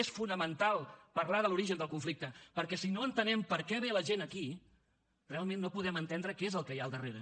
és fonamental parlar de l’origen del conflicte perquè si no entenem per què ve la gent aquí realment no podem entendre què és el que hi ha al darrere